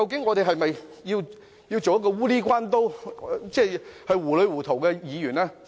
我們是否要做糊裏糊塗的議員？